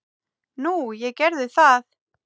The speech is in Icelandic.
Nú, ég gerði það.